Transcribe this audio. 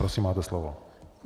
Prosím máte slovo.